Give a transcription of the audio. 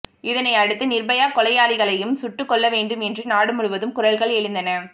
இதனை அடுத்து நிர்பயா கொலையாளிகளையும் சுட்டுக்கொல்ல வேண்டும் என்று நாடு முழுவதும் குரல்கள் எழுந்தன